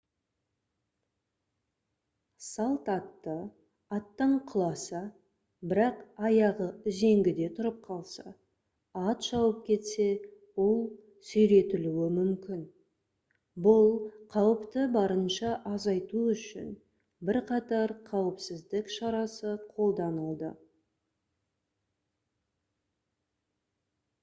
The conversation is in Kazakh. салт атты аттан құласа бірақ аяғы үзеңгіде тұрып қалса ат шауып кетсе ол сүйретілуі мүмкін бұл қауіпті барынша азайту үшін бірқатар қауіпсіздік шарасы қолданылды